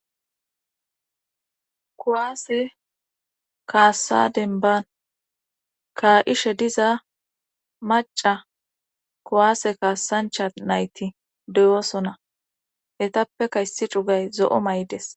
kuwaase kaassa denbban kaa'ishe diza maacca kuwaase kaassancha nayti deyosona. hetappka issi cugay zo'o may'ides.